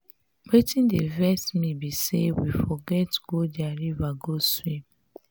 wetin dey vex me be say we forget go their river go swim.